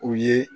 U ye